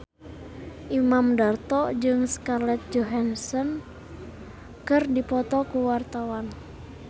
Imam Darto jeung Scarlett Johansson keur dipoto ku wartawan